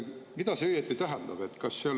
Mida see õieti tähendab?